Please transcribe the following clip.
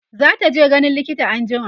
zataje ganin likita anjima